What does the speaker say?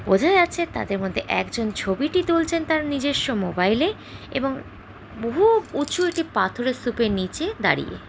বোঝা যাচ্ছে তাদের মধ্যে একজন ছবিটি তুলছেন তার নিজেস্ব মোবাইলে এবং বহু উঁচু একটি পাথরের স্তুপের নিচে দাঁড়িয়ে।